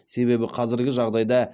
себебі қазіргі жағдайда